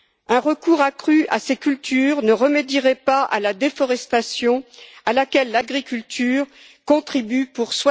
Un recours accru à ces cultures ne remédierait pas à la déforestation, à laquelle l'agriculture contribue pour